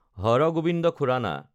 হাৰ Gobind Khorana